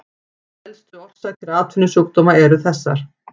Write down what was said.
Helstu orsakir atvinnusjúkdóma eru þessar